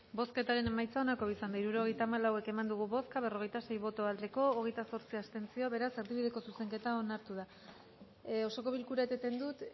bozketaren emaitza onako izan da hirurogeita hamalau eman dugu bozka berrogeita sei boto aldekoa hogeita zortzi abstentzio beraz erdibideko zuzenketa onartu da osoko bilkura eteten dut